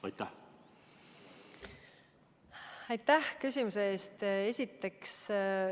Aitäh küsimuse eest!